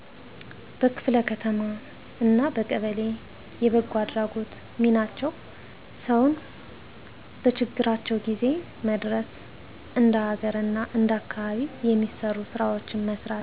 በክፍለ ከተማ አና በቀበሌ የበጎአድራጎት :ሚናቸው ሰውን በችግራቸው ጊዜው መድረስ እንደ ሀገር አና እንደአካባቢው የሚሰሩ ስራወችን መስራት